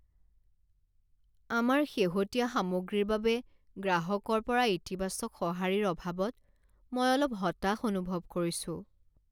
আমাৰ শেহতীয়া সামগ্ৰীৰ বাবে গ্ৰাহকৰ পৰা ইতিবাচক সঁহাৰিৰ অভাৱত মই অলপ হতাশ অনুভৱ কৰিছো।